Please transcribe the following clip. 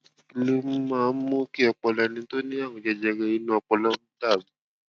kí ló máa ń mú kí ọpọlọ ẹni tó ní àrùn jẹjẹrẹ inú ọpọlọ dà rú